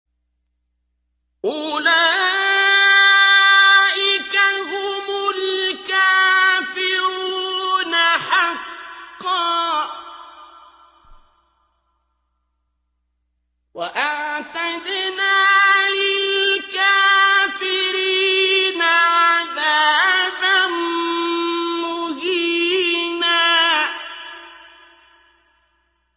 أُولَٰئِكَ هُمُ الْكَافِرُونَ حَقًّا ۚ وَأَعْتَدْنَا لِلْكَافِرِينَ عَذَابًا مُّهِينًا